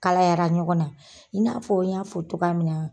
Kalayara ɲɔgɔn na; i n'a fɔ n y'a fɔ cogoya min na.